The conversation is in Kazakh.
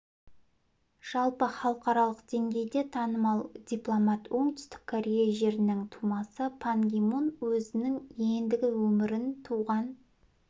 жалпы халықаралық деңгейде танымал дипломат оңтүстік корея жерінің тумасы пан ги мун өзінің ендігі өмірін туған